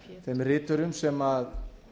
þeim riturum sem